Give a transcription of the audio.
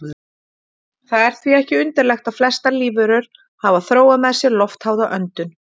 Það er því ekki undarlegt að flestar lífverur hafa þróað með sér loftháða öndun.